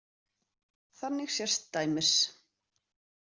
Þannig sést dæmis.